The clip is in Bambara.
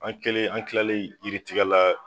An kɛlen, an tilalen yiritigɛ la